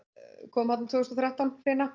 kom þarna tvö þúsund og þrettán